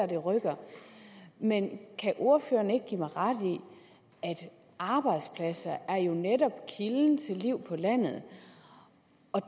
det rykker men kan ordføreren ikke give mig ret i at arbejdspladser jo netop er kilden til liv på landet